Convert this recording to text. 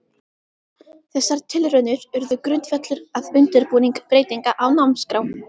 Þessar tilraunir urðu grundvöllur að undirbúningi breytinga á námskrá.